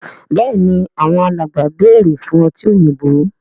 Béèni Àwọn alàgbà bẹrẹ fún ọtí òyìnbó.